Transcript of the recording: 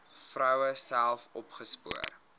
vroue self opgespoor